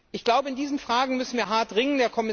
Ich glaube, in diesen Fragen müssen wir hart ringen.